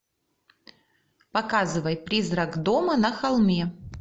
показывай призрак дома на холме